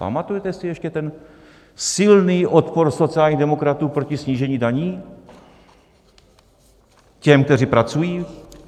Pamatujete si ještě ten silný odpor sociálních demokratů proti snížení daní těm, kteří pracují?